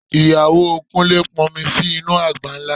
Ìyàwó Kúnlé pọn omi sínú àgbá ńlá